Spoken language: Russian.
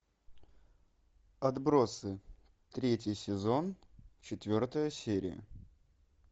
отбросы третий сезон четвертая серия